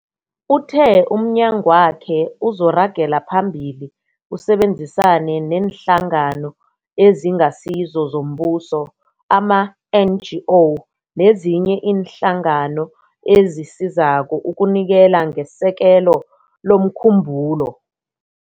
Uthe umnyagwakhe uzoragela phambili usebenzisane neeNhlangano eziNgasizo zoMbuso, ama-NGO, nezinye iinhlangano ezisizako ukunikela ngesekelo lomkhumbulo.